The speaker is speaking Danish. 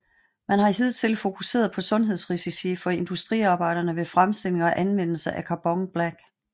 Man har hidtil fokuseret på sundhedsrisici for industriarbejdere ved fremstilling og anvendelse af Carbon black